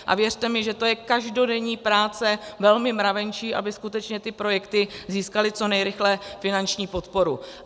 A věřte mi, že to je každodenní práce velmi mravenčí, aby skutečně ty projekty získaly co nejrychleji finanční podporu.